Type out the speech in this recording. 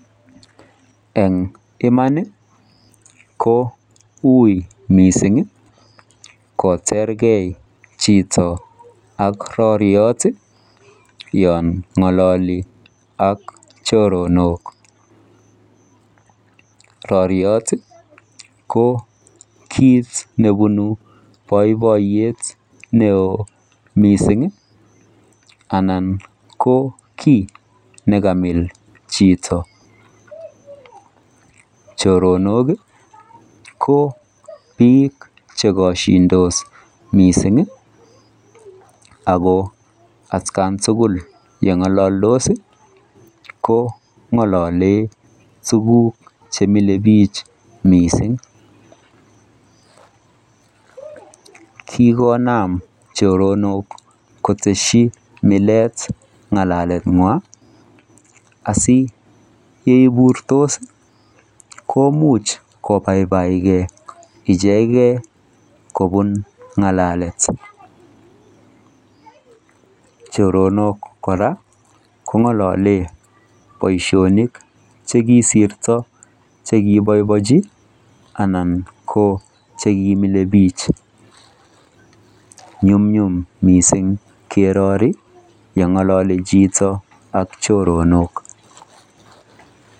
En Iman ko UI mising kochergei chito ak roriot yon ngololi ak chiro ok roriot ko kit nebunu boiboyet mising Alan ko ki nekamil chito choronok ko bik chokoshindos mising ako atkan tugul tos ko ngolole tuguk chemile bik mising kigonam choronok kotesi milet ngalalenywan asi yeiburtos koimuch kobaibaitkey icheket kobun ngalalet choronok kora ko ngololen boishonik chekisirto chekiboibonji Alan ko chekimilebik nyumnyum mising kerori yon ngolole chito ak choronok